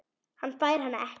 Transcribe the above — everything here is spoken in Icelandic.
Hann fær hana ekki.